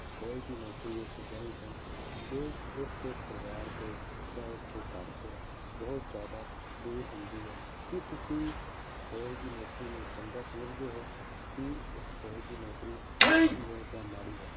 ਫੌਜ਼ ਦੀ ਨੌਕਰੀ ਇੱਕ ਅਜਿਹੀ ਹੈ ਜੋ ਉਸਦੇ ਪਰਿਵਾਰ ਦੇ ਜਾਂ ਉਸਦੇ ਘਰ ਤੋਂ ਬਹੁਤ ਜ਼ਿਆਦਾ ਦੂਰ ਹੁੰਦੀ ਹੈ, ਕੀ ਤੁਸੀਂ ਫੌਜ਼ ਦੀ ਨੌਕਰੀ ਨੂੰ ਚੰਗਾ ਸਮਝਦੇ ਹੋ ਕੀ ਇੱਕ ਫੌਜ਼ ਦੀ ਨੌਕਰੀ ਚੰਗੀ ਹੈ ਜਾਂ ਮਾੜੀ ਹੈ